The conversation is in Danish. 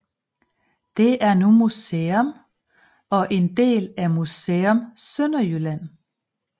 Det er nu museum og en del af Museum Sønderjylland